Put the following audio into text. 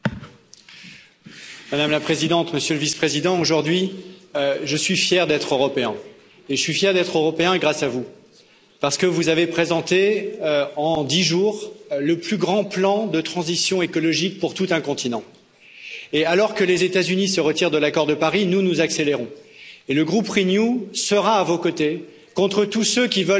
Madame la Présidente, Monsieur le Vice président, aujourd'hui je suis fier d'être européen, et c'est grâce à vous parce que vous avez présenté, en dix jours, le plus grand plan de transition écologique pour tout un continent. Et alors que les États Unis se retirent de l'accord de Paris, nous, nous accélérons, et le groupe Renew sera à vos côtés contre tous ceux qui veulent que rien ne change